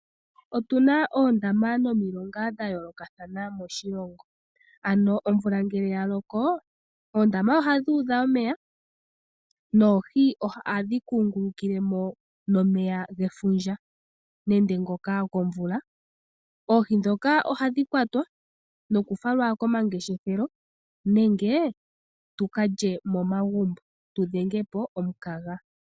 Otuna oondama nomilonga dha yoolokathana moshilongo. Ano omvula ngele ya loko, oondama ohadhi udha omeya, noohi ohadhi kungulukile mo nomeya gefundja. Oohi dhoka ohadhi kwatwa nokufalwa komangeshefelo, nenge tuka lye momagumbo tudhenge po omukaga.